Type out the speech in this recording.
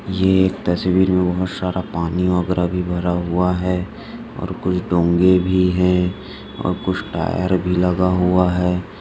ये तस्वीर मे बहुत सारा पाणी वगैरा भरा हुआ है और कुछ डोंगे भी है और कुछ टायर भी लगा हुआ है।